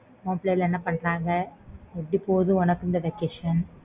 உன் பிள்ளைங்க எல்லாம் என்ன பன்றாங்க எப்பிடி போகுது உனக்கு இந்த vacation